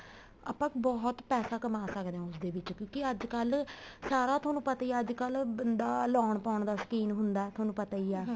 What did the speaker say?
ਆਪਾਂ ਬਹੁਤ ਪੈਸਾ ਕਮਾਹ ਸਕਦੇ ਹਾਂ ਉਸ ਦੇ ਵਿੱਚ ਕਿਉਂਕਿ ਅੱਜਕਲ ਸਾਰਾ ਤੁਹਾਨੂੰ ਪਤਾ ਹੀ ਆ ਅੱਜਕਲ ਬੰਦਾ ਲਾਉਣ ਪਾਉਣ ਦਾ ਸੋਕੀਨ ਹੁੰਦਾ ਤੁਹਾਨੂੰ ਪਤਾ ਹੀ ਆ